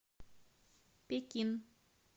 пекин